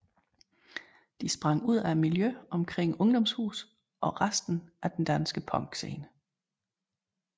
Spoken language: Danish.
De sprang ud af miljøet omkring Ungdomshuset og resten af den danske punkscene